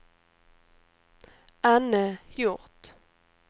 Anne Hjort